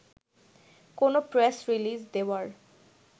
কোনো press release দেওয়ার